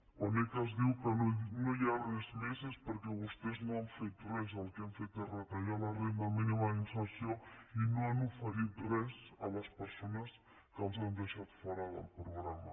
quan ecas diu que no hi ha res més és perquè vostès no han fet res el que han fet és retallar la renda mínima d’inserció i no han ofert res a les persones que els han deixat fora del programa